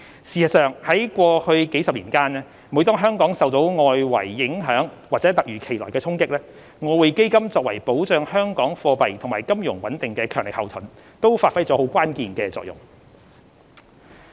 事實上，過去數十年間，每當香港受到外圍影響或突如其來的衝擊，外匯基金作為保障香港貨幣及金融穩定的強力後盾，都發揮了關鍵性的作用。